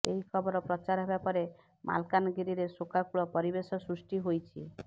ଏହି ଖବର ପ୍ରଚାର ହେବା ପରେ ମାଲକାନଗିରିରେ ଶୋକାକୁଳ ପରିବେଶ ସୃଷ୍ଟି ହୋଇଛି